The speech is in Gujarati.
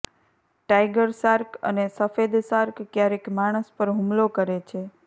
ટાઇગર શાર્ક અને સફેદ શાર્ક ક્યારેક માણસ પર હુમલો કરે છે